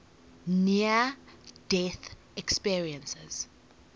near death experiences